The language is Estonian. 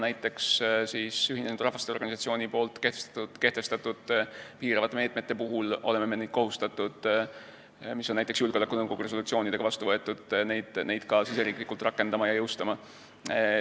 Näiteks Ühinenud Rahvaste Organisatsiooni kehtestatud piiravate meetmete puhul oleme kohustatud neid meetmeid, mis on näiteks julgeolekunõukogu resolutsioonidega vastu võetud, ka riigisiseselt rakendama ja jõustama.